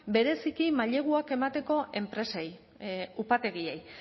bereziki maileguak emateko enpresei upategiei